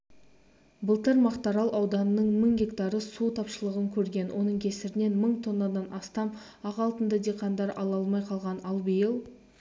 былтыр мақтаарал ауданының мың гектары су тапшылығын көрген оның кесірінен мың тоннадан астам ақ алтынды диқандар ала алмай қалған ал биыл